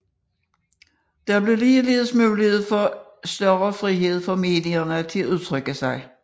Der blev ligeledes mulighed for større frihed for medierne til at udtrykke sig